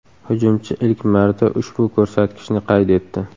Hujumchi ilk marta ushbu ko‘rsatkichni qayd etdi .